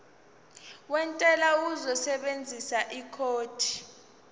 wentela uzosebenzisa ikhodi